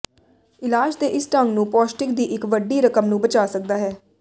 ਇਲਾਜ ਦੇ ਇਸ ਢੰਗ ਨੂੰ ਪੌਸ਼ਟਿਕ ਦੀ ਇੱਕ ਵੱਡੀ ਰਕਮ ਨੂੰ ਬਚਾ ਸਕਦਾ ਹੈ